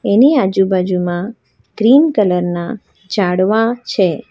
એની આજુબાજુમાં green colour ના ઝાડવા છે.